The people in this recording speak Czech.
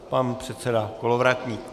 Pan předseda Kolovratník.